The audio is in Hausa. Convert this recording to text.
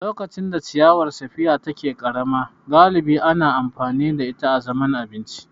Lokacin da ciyawar spear take ƙarama, galibi ana amfani da ita azaman abinci.